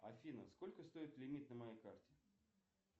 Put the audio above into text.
афина сколько стоит лимит на моей карте